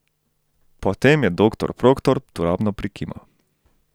Potem je doktor Proktor turobno prikimal.